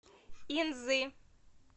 инзы